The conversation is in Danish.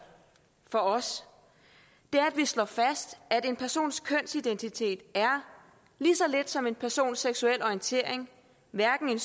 for os er at vi slår fast at en persons kønsidentitet lige så lidt som en persons seksuelle orientering hverken